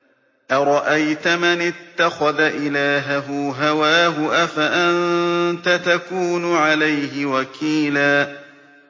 أَرَأَيْتَ مَنِ اتَّخَذَ إِلَٰهَهُ هَوَاهُ أَفَأَنتَ تَكُونُ عَلَيْهِ وَكِيلًا